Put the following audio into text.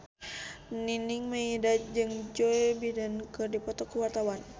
Nining Meida jeung Joe Biden keur dipoto ku wartawan